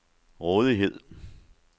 rådighed